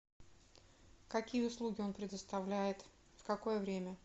какие услуги он предоставляет в какое время